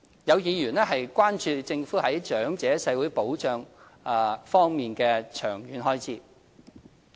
有議員關注政府在長者社會保障方面的長遠開支。